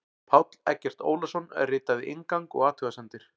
Páll Eggert Ólason ritaði inngang og athugasemdir.